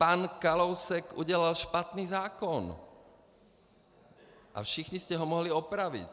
Pan Kalousek udělal špatný zákon a všichni jste ho mohli opravit.